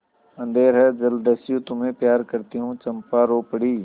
अंधेर है जलदस्यु तुम्हें प्यार करती हूँ चंपा रो पड़ी